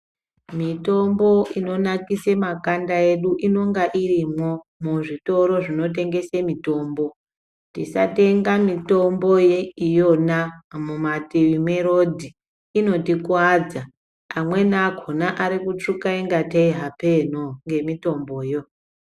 Mitombo inonakise makanda edu, inonga irimwo ,muzvitoro zvinotengese mitombo. Tisatenga mitombo ye iyona mumatii merodhi, inotikuwadza. Amweni akhona ari kutsvuka ingatei hapenoo, ngemitomboyo.